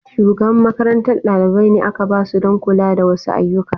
Shugaban makarantar dalibai ne aka ba su don kula da wasu ayyuka.